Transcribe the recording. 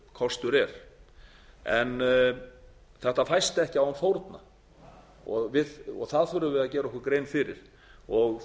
kostur er en þetta fæst ekki án fórna fyrir því þurfum við að gera okkur grein